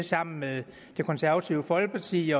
sammen med det konservative folkeparti